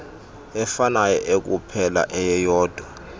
efanayo ekuphela eyeyodwa